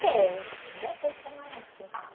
Tem, ainda tem camarão.